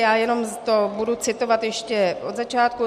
Já jenom to budu citovat ještě od začátku: